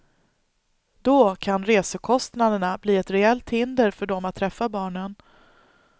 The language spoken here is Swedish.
Då kan reskostnaderna bli ett reellt hinder för dem att träffa barnen.